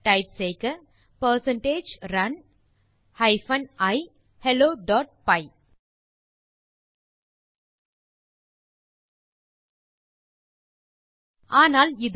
type செய்க percentage run hyphen e helloபை ஆனால் இது